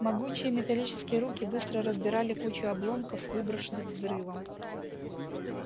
могучие металлические руки быстро разбирали кучу обломков выброшенных взрывом